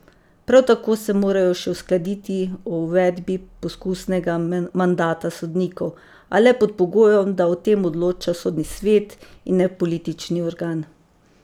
Prav tako se morajo še uskladiti o uvedbi poskusnega mandata sodnikov, a le pod pogojem, da o tem odloča sodni svet, in ne politični organ.